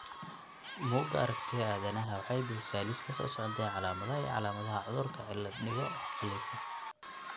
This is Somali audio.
Bugga Aragtiyaha Aanadanaha waxay bixisaa liiska soo socda ee calaamadaha iyo calaamadaha cudurka cilaad digo oo khalifo.